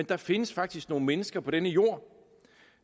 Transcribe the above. der findes faktisk nogle mennesker på denne jord